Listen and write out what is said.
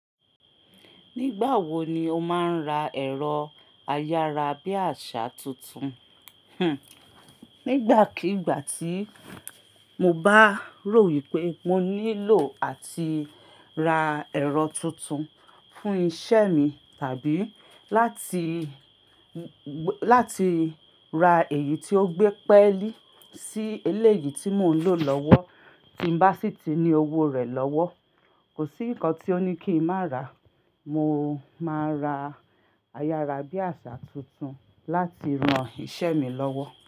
Nígbà wo ni o máa ń ra ẹ̀rọ ayárabíàṣá tuntun? Hmm. Nígbàkigbà tí mo bá rò wípé mo nílò áti ra ẹ̀rọ tuntun fún iṣẹ́ mi tàbí láti, láti ra èyí tí ó gbé pẹ́ lí sí eléyìí tí mò ń lò lọ́wọ́ tí ń bá sì ti ní owó rẹ̀ lọ́wọ́. Kò sí nǹkan tí ó ní kí n má ra. Mo máa ra ayára bí àṣá tuntun láti ran iṣẹ́ mi lọ́wọ́.